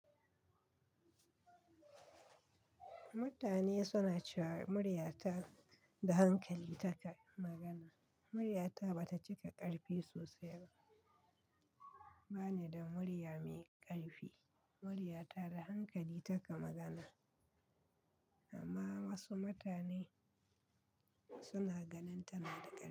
Mutane suna cewa murya ta da hankali taka magana. Murya ta ba ta cika ƙarfi sosai ba. Ba ni da murya mai ƙarfi. Murya ta da hankali taka magana, amma wasu mutane suna ganin tana da ƙarfi.